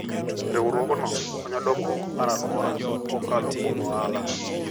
Riwruogno konyo dongruok mar alwora kokalo kuom ohala.